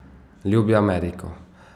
Ljubi Ameriko.